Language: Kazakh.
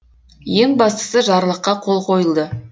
ең бастысы жарлыққа қол қойылды